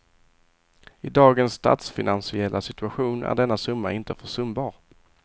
I dagens statsfinansiella situation är denna summa inte försumbar.